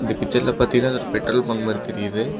பிக்சர்ல பாத்தீங்கனா அது ஒரு பெட்ரோல் பங்க் மாதிரி தெரியுது.